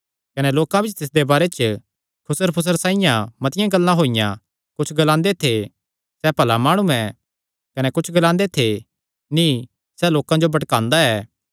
कने लोकां बिच्च तिसदे बारे च खुसर फुशर साइआं मतिआं गल्लां होईयां कुच्छ लोक ग्लांदे थे सैह़ भला माणु ऐ कने कुच्छ ग्लांदे थे नीं सैह़ लोकां जो भटकांदा ऐ